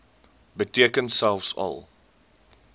beteken selfs al